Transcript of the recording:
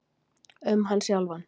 Um hann sjálfan.